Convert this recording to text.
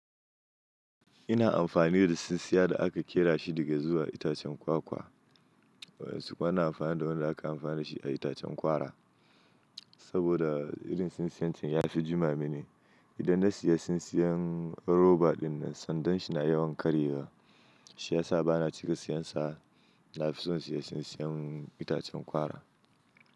Ina amfani da sinsiya da aka ƙera shi daga zuwa itacen kwakwa, wasu kuma na amfani da wanda aka amfani da shi a itacen kwara. Saboda irin sinsiyancin ya fi jima mini. Idan na siya sinsiyan roba dinnan sandan shi na yawan karyewa shiyasa bana cika siyansa. Nafi son siya sinsiyan itacen kwara.